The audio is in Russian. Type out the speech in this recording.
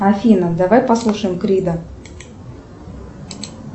афина давай послушаем крида